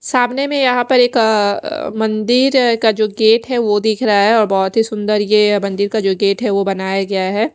सामने में यहाँ एक अ मंदिर का जो गेट है वो दिख रहा है और बहोत ही सुंदर यह मंदिर का जो गेट है वो बनाया गया है।